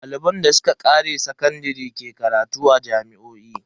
Daliban da suka kare sakandare ke karatu a jami'o'i.